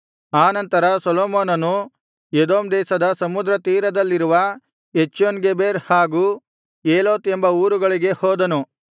ಆನಂತರ ಸೊಲೊಮೋನನು ಎದೋಮ್ ದೇಶದ ಸಮುದ್ರ ತೀರದಲ್ಲಿರುವ ಎಚ್ಯೋನ್ಗೆಬೆರ್ ಹಾಗೂ ಏಲೋತ್ ಎಂಬ ಊರುಗಳಿಗೆ ಹೋದನು